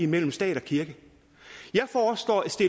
mellem stat og kirke